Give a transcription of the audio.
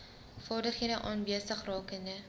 vaardighede aanwesig rakende